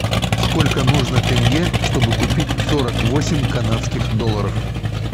сколько нужно тенге чтобы купить сорок восемь канадских долларов